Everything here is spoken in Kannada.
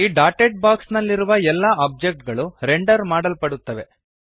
ಈ ಡಾಟೆಡ್ ಬಾಕ್ಸ್ ನಲ್ಲಿರುವ ಎಲ್ಲ ಒಬ್ಜೆಕ್ಟ್ ಗಳು ರೆಂಡರ್ ಮಾಡಲ್ಪಡುತ್ತವೆ